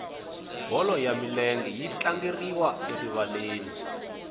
bolo ya milenge yi tlangeriwa erivaleni